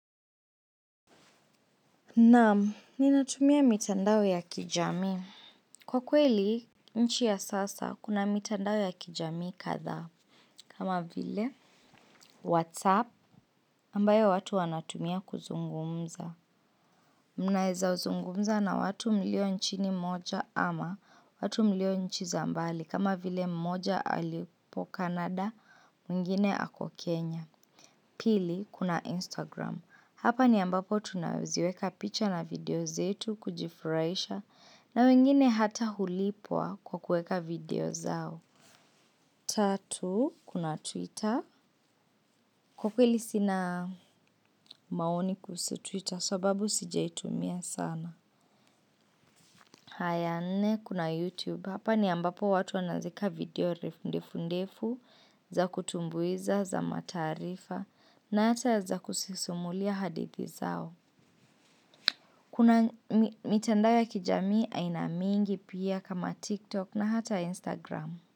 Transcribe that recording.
Naam, ninatumia mitandao ya kijami. Kwa kweli, nchi ya sasa, kuna mitandao ya kijami kadhaa. Kama vile, WhatsApp, ambayo watu wanatumia kuzungumza. Mnaeza zungumza na watu mlio nchini moja ama watu mlio nchi za mbali. Kama vile mmoja alipo canada, mwingine ako Kenya. Pili, kuna Instagram. Hapa ni ambapo tunaziweka picha na video zetu kujifurahisha na wengine hata hulipwa kwa kueka video zao. Tatu kuna twitter kwa kweli sina maoni kuhusu twitter sababu sijaitumia sana. Haya nne, kuna YouTube. Hapa ni ambapo watu wanazieka video refu ndefu ndefu za kutumbuiza za matarifa na hata za kusisumulia hadithi zao. Kuna mitandao ya kijami aina mingi pia kama TikTok na hata Instagram.